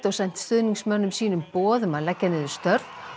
sent stuðningsmönnum sínum boð um að leggja niður störf